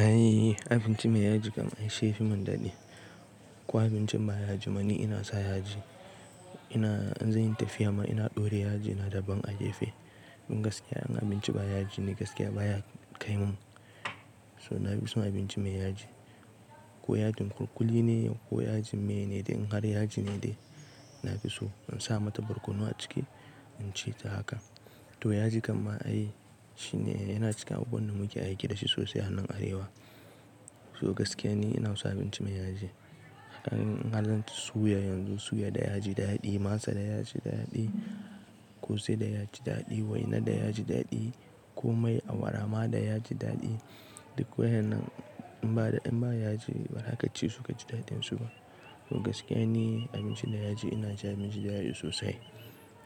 Ai abinci mai yaji kam ai shi ya fi mun daɗi. Ko abincin ba yaji ba ni ina sa yaji. Ina--in zan yi tafiya ma ina ɗore yaji ina daɓan a gefe. In gaskiya abinci ba yaji ne gaskiya baya kai mun. So na fi so abinci mai yaji. Ko yajin kulkuli ne ko yajin mene in har yaji ne dai na fi so in sa mata barkono a ciki in ci ta haka. To yaji kam ai shi ne yana cikin abubuwan da muke aiki da shi sosai a nan arewa. So gaskiya ne ina so abinci mai yaji. In in halarta suya yanzu, suya da yaji daɗi, masa da yaji daɗi, ƙosai da yaji daɗi, waina da yaji daɗi ko mai awara ma da yaji daɗi. Duk wayen nan in ba da in ba yaji ba, ba zaka ci su ka ji daɗin su. Gaskiya ni abinci da yaji ina cin abinci da yaji sosai.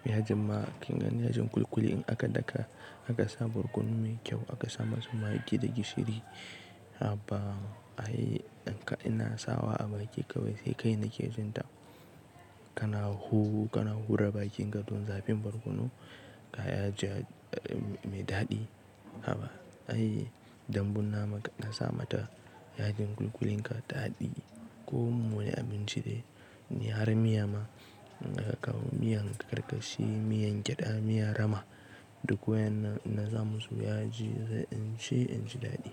Yajin ma kin gan yajin kulkuli in aka daka aka sa barkono mai kyau aka sa masa magi da gishiri. Haba ai ɗan kaɗa na sawa a baki kawai sai kai na ke jinta. Kana huhu kana hura bakin ka don zafin barkono ka yaji mai daɗi. Haba ai dambun nama ka sa mata yajin kulkulin ka daɗi. Ko mun yi abinci dai in har miya ma in ka kawo miyan karkashi, miyan gyada, miyan rama duk wayennan in sa musu yaji in ci in ji daɗi.